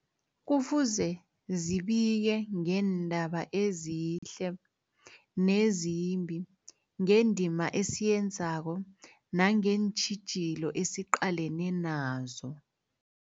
Kufuze zibike ngeendaba ezihle nezimbi, ngendima esiyenzako nangeentjhijilo esiqalene nazo.